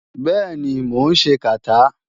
Bẹ́ẹ̀ni, mò ń ṣe kàtá.